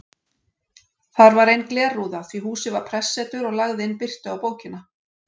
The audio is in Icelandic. Þar var ein glerrúða því húsið var prestsetur og lagði inn birtu á bókina.